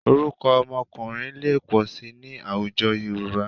Orúkọ ọmọkùnrin lè pọ̀ síi ní àwùjọ Yorùbá